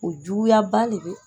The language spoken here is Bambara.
O juguyaba le bɛ